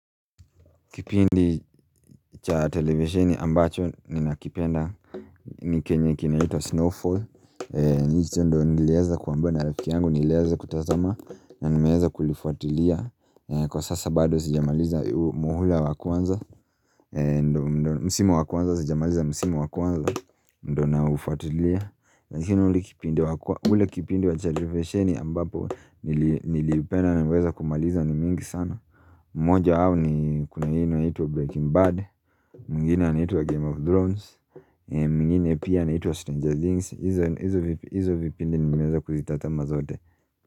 Kipindi cha televesheni ambacho ninakipenda ni kenye kinaitwa snowfall ni hicho ndio niliweza kuambiwa na rafiki yangu, niliweza kutazama na nimeweza kulifuatilia. Kwa sasa bado sijamaliza muhula wa kwanza, msimu wa kwanza, sijamaliza msimu wa kwanza Ndio naufutulia, lakini ule kipindi cha televesheni ambapo niliupenda na kuweza kumaliza ni mingi sana moja au ni kuna hii inaitwa Breaking Bad, mwingine inaitwa Game of Thrones mwngine pia inaitwa Stranger Things.Hizo vipindi nimeweza kuzitazama zote.